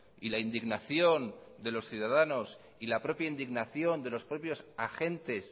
y la indignación de los ciudadanos y la propia indignación de los propios agentes